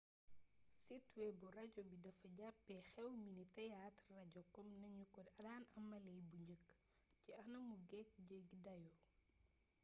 sitewebu radio bi dafa jàppee xew mi ni théâtre radio kom nañu ko daan amalee bu njëkk ci anamu geek jéggi dayo